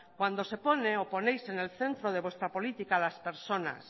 cuando se pone o ponéis en el centro de vuestra política a las personas